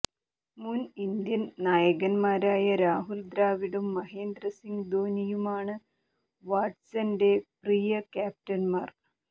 മുൻ ഇന്ത്യൻ നായകൻമാരായ രാഹുൽ ദ്രാവിഡും മഹേന്ദ്ര സിങ് ധോണിയുമാണ് വാട്സൻെറ പ്രിയ ക്യാപ്റ്റൻമാർ